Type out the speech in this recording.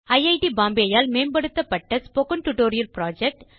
iit Bombay ஆல் மேம்படுத்தப்பட்ட spoken tutorial project